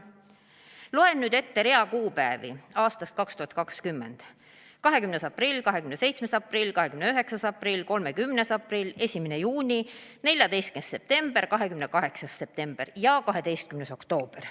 Loen nüüd ette rea kuupäevi aastast 2020: 20. aprill, 27. aprill, 29. aprill, 30. aprill, 1. juuni, 14. september, 28. september ja 12. oktoober.